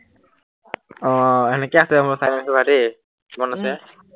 আহ সেনেকেই আছে হবলা চাই লৈচো বাও দেই উম কিমান আছে